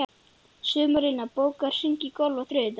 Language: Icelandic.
Sumarlína, bókaðu hring í golf á þriðjudaginn.